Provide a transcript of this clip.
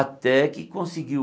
Até que conseguiu.